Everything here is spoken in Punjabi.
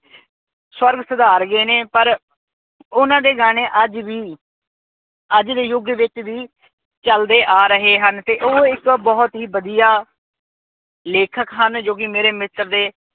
ਸਵਰਗ ਸਧਾਰ ਗਏ ਨੇ। ਪਰ ਉਹਨਾਂ ਦੇ ਗਾਣੇ ਅੱਜ ਵੀ, ਅੱਜ ਦੇ ਯੁਗ ਵਿੱਚ ਵੀ ਚਲਦੇ ਆ ਰਹੇ ਹਨ ਤੇ ਉਹ ਇੱਕ ਬਹੁਤ ਹੀ ਵਧੀਆ ਲੇਖਕ ਹਨ ਜੋ ਕੀ ਮੇਰੇ ਮਿੱਤਰ ਦੇ